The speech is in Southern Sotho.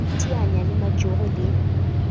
ho iteanya le majoro le